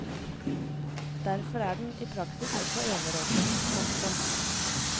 Derfor er den i praksis også enerådende. punktum